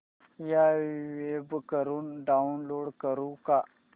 या वेब वरुन डाऊनलोड करू का